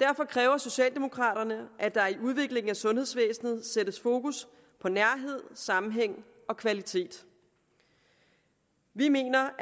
derfor kræver socialdemokraterne at der i udviklingen af sundhedsvæsenet sættes fokus på nærhed sammenhæng og kvalitet vi mener